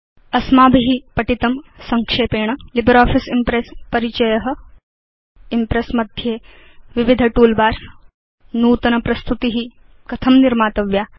अस्माभि पठितं संक्षेपेण लिब्रियोफिस इम्प्रेस् परिचय इम्प्रेस् मध्ये विविध टूलबार्स नूतन प्रस्तुति कथं निर्मातव्या